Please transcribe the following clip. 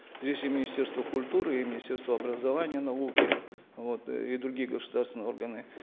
здесь и министерство культуры и министерство образования и науки вот и другие государственные органы